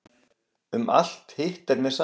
Um alt hitt er mér sama.